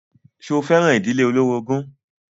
Ṣo fẹ́ràn ìdílé olórogún?